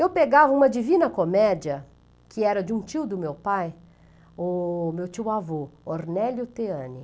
Eu pegava uma divina comédia, que era de um tio do meu pai, o meu tio-avô, Ornélio Teane.